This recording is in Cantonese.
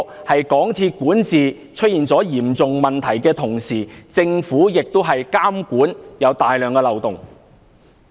在港鐵管治出現嚴重問題的同時，政府的監管亦有大量漏洞。